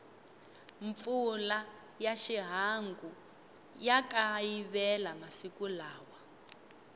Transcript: mpfula ya xihangu ya kayivela masiku lawa